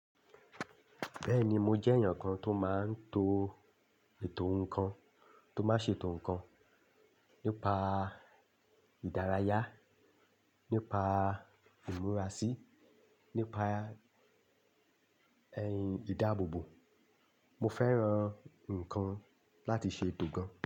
Bẹ́ẹ̀ni, mo jẹ́ èèyàn kan tó máa ń to ètò nǹkan, tó máa ń ṣètò nǹkan nípa ìdárayá, nípa ìmúra sí, nípa ẹ̀yin ìdáàbòbò. Mo fẹ́ran nǹkan láti ṣe ètò gan.